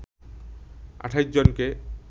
২৮ জনকে